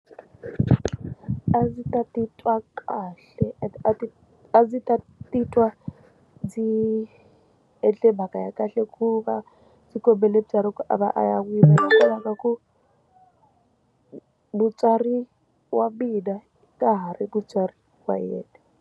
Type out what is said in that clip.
A ndzi ta titwa kahle and a ti a ndzi ta titwa ndzi endle mhaka ya kahle ku va ndzi kombela mutswari a va a ya n'wi lovolanga hi ku mutswari wa mina ka ha ri mutswari wa yena.